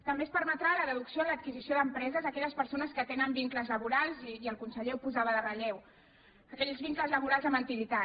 també es permetrà la deducció en l’adquisició d’empreses a aquelles persones que tenen vincles laborals i el conseller ho posava en relleu aquells vincles laborals amb antiguitat